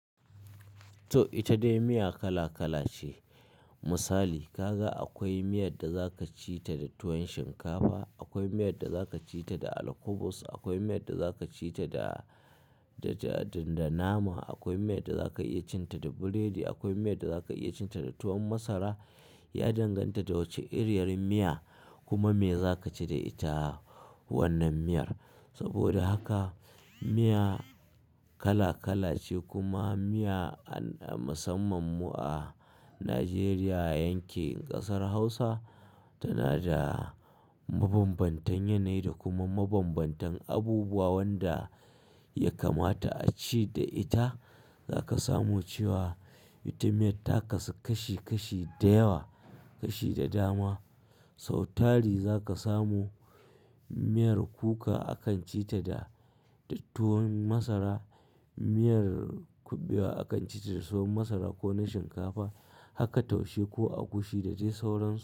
To ita dai miya kala kala ce. Misali kaga akwai miyar da za ka ci ta da tuwon shinkafa, akwai miyar da za ka ci ta da alkubus, akwai miyar da za ka ci ta da, da, da nama, akwai miyar da za ka iya cin ta da burodi, akwai miyar da za ka iya cin ta da tuwon masara. Ya danganta da wacce iriyar miya kuma me za ka ci da ita wannan miyar. Saboda haka miya kala kala ce kuma miya a, a musamman mu a Najeriya yankin ƙasar Hausa tana da mabambantan yanayi da kuma mabambantan abubuwa wanda ya kamata a ci da ita. Za ka samu cewa ita miyar ta kasu kashi kashi da yawa, kashi da dama. Sau tari za ka samu, miyar kuka akan ci ta da tuwon masara, miyar kuɓewa akan ci ta da tuwon masara ko na shinkafa haka taushe ko agushi dade sauran su.